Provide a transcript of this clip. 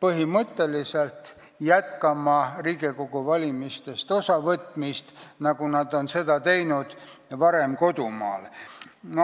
põhimõtteliselt jätkama Riigikogu valimistest osavõtmist, nagu nad seda varem kodumaal tegid.